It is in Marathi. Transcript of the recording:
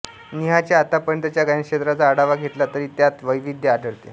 नेहाच्या आतापर्यंतच्या गायनक्षेत्राचा आढावा घेतला तरी त्यात वैविध्य आढळते